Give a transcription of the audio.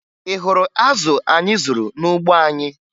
Ị hụrụ azụ anyị zụrụ n'ugbo anyị?